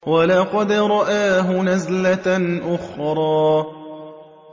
وَلَقَدْ رَآهُ نَزْلَةً أُخْرَىٰ